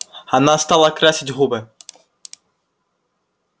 она стала красить губы